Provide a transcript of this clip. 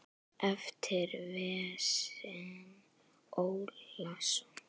eftir Véstein Ólason.